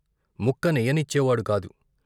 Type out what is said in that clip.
ముక్క నెయ్యనిచ్చేవాడు కాదు.